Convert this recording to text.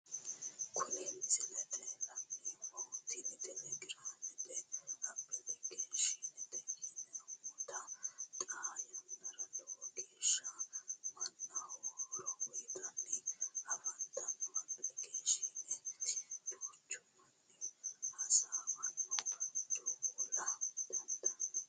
Kuni misilete la'neemohu, tini telegraamete applikeeshineeti yaamamantano, xaa yanara lowo geesaha manaho horo uyitanni afanitanno applikeeshinetti duchu mani hasawanna dowola dandaano